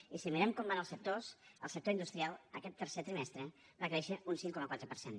i si mirem com van els sectors el sector industrial aquest tercer trimestre va créixer un cinc coma quatre per cent